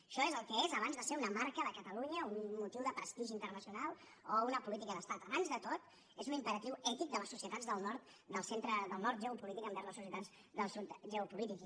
això és el que és abans de ser una marca de catalunya un motiu de prestigi internacional o una política d’estat abans de tot és un imperatiu ètic de les societats del nord geopolític envers les societats del sud geopolític